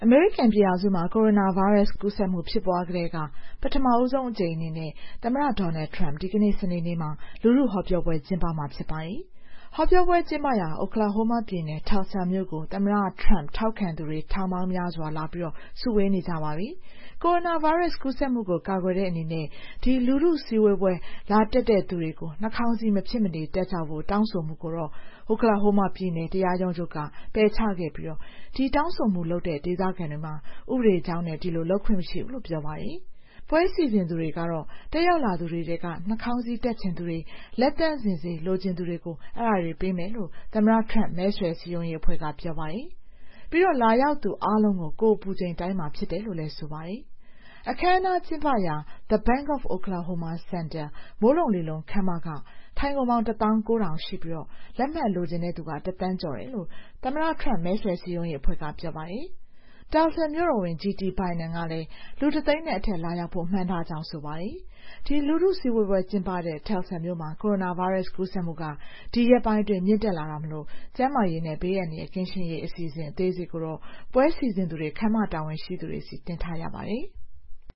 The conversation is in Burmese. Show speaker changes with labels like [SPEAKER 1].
[SPEAKER 1] မေရိကန်ပြည်ထောင်စုမှာ ကိုရိုနာဗိုင်းရပ်စ် ကူးစက်မှု ဖြစ်ပွားကတည်းက ပထမဆုံးအကြိမ် အနေနဲ့ သမ္မတ Trump ဒီကနေ့ စနေနေ့မှာ လူထုဟောပြောပွဲ ကျင်းပမှာဖြစ်ပါတယ်။ ဟောပြောပွဲကျင်းပရာ Oklahoma ပြည်နယ် Tulsa မြို့ကို သမ္မတ Trump ထောက်ခံသူတွေ ထောင်ပေါင်းများစွာ လာစုဝေးနေကြပါပြီ။ ကိုရိုနာဗိုင်းရပ်စ် ကူးစက်မှုကို ကာကွယ်တဲ့အနေနဲ့ ဒီ လူထုစုဝေးပွဲ လာတက်ရောက်ကြသူတွေ နှာခေါင်းစည်း မဖြစ်မနေတပ်ကြဖို့ တောင်းဆိုမှုကိုတော့ Oklahoma ပြည်နယ် တရားရုံးချုပ်က ပယ်ချခဲ့ပြီး ဒီတောင်းဆိုမှုလုပ်တဲ့ ဒေသခံတွေမှာ ဥပဒေကြောင်းအရ ဒီလိုလျှောက်ထားခွင့် မရှိဘူးလို့ ပြောပါတယ်။ တက်ရောက်လာသူတွေထဲက နှာခေါင်းစည်းတပ်ချင်သူတွေ လက်သန့်စင်ဆေး လိုချင်သူတွေကို ပွဲစီစဉ်သူတွေက ပေးမယ်လို့ သမ္မတ Trump မဲဆွယ်စည်းရုံးရေးအဖွဲ့က ပြောပါတယ်။ ပြီးတော့ လာရောက်သူအားလုံးကို ကိုယ်အပူချိန်တိုင်းမှာ ဖြစ်တယ်လို့လည်း ဆိုပါတယ်။ အခမ်းအနားကျင်းပရာ The Bank of Oklahoma Center မိုးလုံလေလုံ ခန်းမမှာ ထိုင်ခုံပေါင်း ၁၉,၀၀၀ ရှိပြီး လက်မှတ်လိုချင်တဲ့သူက ၁ သန်းကျော်တယ်လို့ Trump မဲဆွယ်စည်းရုံးရေးအဖွဲ့က ပြောပါတယ်။ Tulsa မြို့တော်ဝန် G.T. Bynam ကလည်း လူ ၁ သိန်းနဲ့အထက် လာရောက်ဖို့ မှန်းထားကြောင်း ပြောပါတယ်။ ဒီလူထုစုဝေးပွဲ ကျင်းပတဲ့ Tulsa မြို့မှာ ကိုရိုနာဗိုင်းရပ်စ် ကူးစက်မှုက ဒီရက်ပိုင်းအတွင်း မြင့်တက်လာတာမို့ ကျန်းမာရေးနဲ့ ဘေးအန္တရာယ်ကင်းရှင်းရေး အစီအစဉ် အသေးစိတ်ကို ပွဲစီစဉ်သူတွေအနေနဲ့ ခန်းမတာဝန်ရှိသူတွေဆီ တင်ပြထားရပါတယ်။